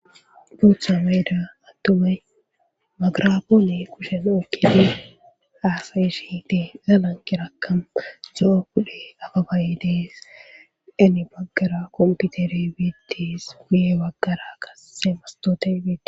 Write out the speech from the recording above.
duutha meeda attumay magrapoone kushen okkine aasayi shi dee galankirakkam zo7o kudhe aba baye dees deni baggara kompitere betees guye baggara qasse mastote bee